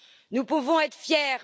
Nous pouvons être fiers.